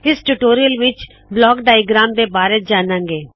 ਇਸ ਟਿਊਟੋਰਿਯਲ ਵਿਚ block diagram ਦੇ ਬਾਰੇ ਜਾਨਾੰ ਗੇ